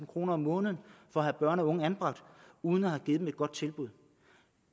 kroner om måneden for at have børn og unge anbragt uden at have givet dem et godt tilbud